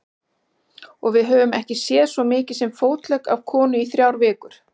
Og við höfum ekki séð svo mikið sem fótlegg af konu í þrjár vikur.